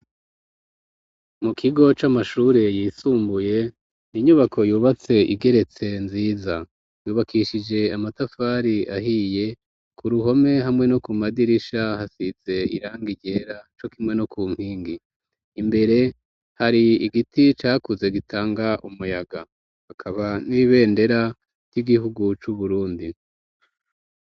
Mu kigo c'amashure yisumbuye, inyubako yubatse igeretse nziza. Yubakishije amatafari ahiye ku ruhome hamwe no ku madirisha hasize irangi ryera co kimwe no ku nkingi. Imbere hari igiti cakuze gitanga umuyaga hakaba n'ibendera ry'igihugu c'Uburundi.